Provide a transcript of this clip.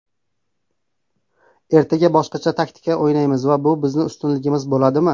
Ertaga boshqacha taktikada o‘ynaymiz va bu bizning ustunligimiz bo‘ladimi?